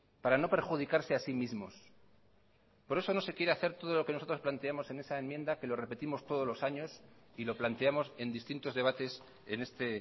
para no perjudicarse a sí mismos por eso no se quiere hacer todo lo que nosotros planteamos en esa enmienda que lo repetimos todos los años y lo planteamos en distintos debates en este